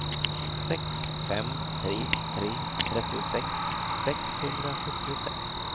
sex fem tre tre trettiosex sexhundrasjuttiosex